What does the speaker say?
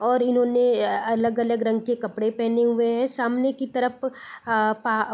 और इन्होंने अलग-अलग रंग के कपड़े पहने हुए हैं सामने की तरफ आ पा --